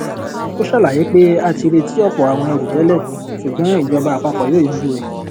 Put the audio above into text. ó ṣàlàyé pé a ti retí ọpọ àwọn èrù tẹlẹ ṣùgbọn ìjọba àpapọ yóò yanjú rẹ